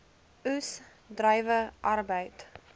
oes druiwe arbeid